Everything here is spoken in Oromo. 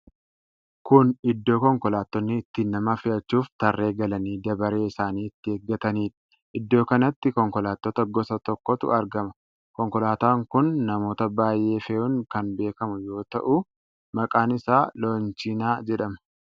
Kun iddoo konkolaattonni itti nama fe'achuuf tarree galanii dabaree isaanii itti eeggataniidha. Iddoo kanatti konkolaattota gosa tokkotu argama. Konkolaataan kun namoota baay'ee fe'uun kan beekamu yoo ta'u, maqaan isaa Loonchinaa jedhama.